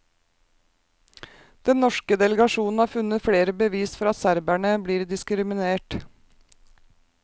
Den norske delegasjonen har funnet flere bevis for at serberne blir diskriminert.